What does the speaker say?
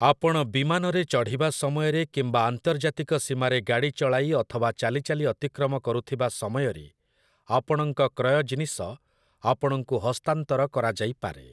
ଆପଣ ବିମାନରେ ଚଢ଼ିବା ସମୟରେ କିମ୍ବା ଆନ୍ତର୍ଜାତିକ ସୀମାରେ ଗାଡ଼ି ଚଳାଇ ଅଥବା ଚାଲିଚାଲି ଅତିକ୍ରମ କରୁଥିବା ସମୟରେ, ଆପଣଙ୍କ କ୍ରୟ ଜିନିଷ ଆପଣଙ୍କୁ ହସ୍ତାନ୍ତର କରାଯାଇପାରେ ।